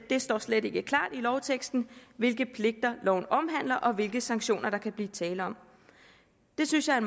det står slet ikke klart i lovteksten hvilke pligter loven omhandler og hvilke sanktioner der kan blive tale om det synes jeg er